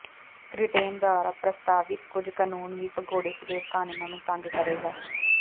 ਕ੍ਰਿਟੈਂਨ ਦੁਆਰਾ ਪ੍ਰਸਤਾਵਿਤ ਕੁਝ ਕਾਨੂੰਨ ਵੀ ਭਗੌੜੇ ਸਲੇਵ ਕਾਨੂੰਨਾਂ ਨੂੰ ਤੰਗ ਕਰੇਗਾ